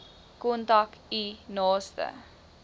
kontak u naaste